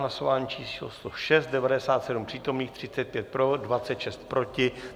Hlasování číslo 106, 97 přítomných, 35 pro, 26 proti.